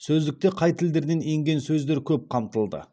сөздікте қай тілдерден енген сөздер көп қамтылды